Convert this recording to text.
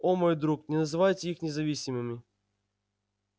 о мой друг не называйте их независимыми